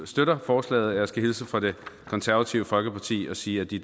støtter forslaget og jeg skal hilse fra det konservative folkeparti og sige at de